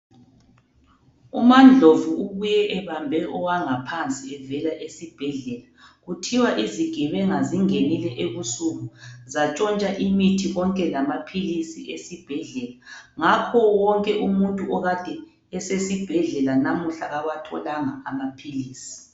Umandlovu ubuye ebambe owangaphansi evela esibhedlela, kuthiwa izigebenga zingenile ebusuku zatshontsha imithi konke lamaphilisi esibhedlela ,ngakho wonke umuntu okade esesibhedlela namuhla kawatholanga amaphilisi.